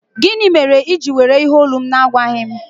Gịnị mere i ji were olu m na-agwaghị m?